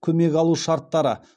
көмек алу шарттары